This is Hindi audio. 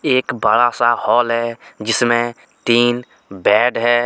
एक बड़ा सा हाल है जिसमें तीन बेड है।